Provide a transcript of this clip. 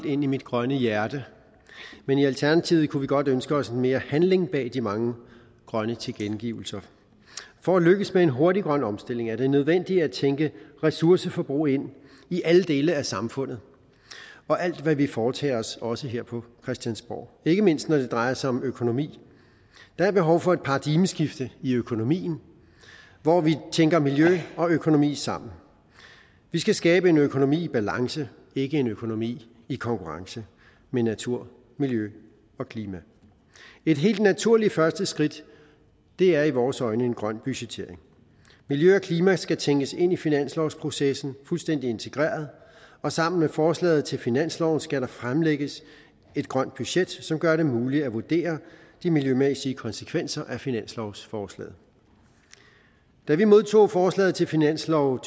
ind i mit grønne hjerte men i alternativet kunne vi godt ønske os mere handling bag de mange grønne tilkendegivelser for at lykkes med hurtig grøn omstilling er det nødvendigt at tænke ressourceforbrug ind i alle dele af samfundet og alt hvad vi foretager os også her på christiansborg ikke mindst når det drejer sig om økonomi der er behov for et paradigmeskift i økonomien hvor vi tænker miljø og økonomi sammen vi skal skabe en økonomi i balance ikke en økonomi i konkurrence med naturen miljøet og klimaet et helt naturligt første skridt er i vores øjne en grøn budgettering miljøet og klimaet skal tænkes ind i finanslovsprocessen fuldstændig integreret og sammen med forslaget til finanslov skal der fremlægges et grønt budget som gør det muligt at vurdere de miljømæssige konsekvenser af finanslovsforslaget da vi modtog forslaget til finanslov